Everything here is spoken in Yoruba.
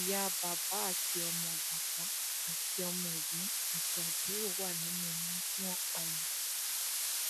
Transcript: ìyá bàbá àti ọmọ bàbá àti ọmọ ẹgbọn àti àbúrò wà nínú àwọn tí wọn pa yìí